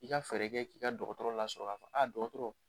I ka fɛɛrɛ kɛ k'i ka dɔgɔtɔrɔ lasɔrɔ ka f dɔgɔtɔrɔ